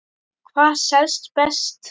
Hvað selst best?